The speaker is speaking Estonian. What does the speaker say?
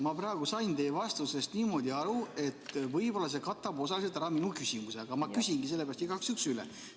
Ma praegu sain teie vastusest niimoodi aru, et võib-olla see kattub osaliselt minu küsimusega, aga ma küsingi sellepärast igaks juhuks üle.